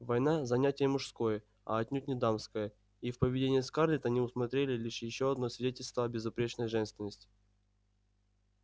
война занятие мужское а отнюдь не дамское и в поведении скарлетт они усмотрели лишь ещё одно свидетельство о безупречной женственности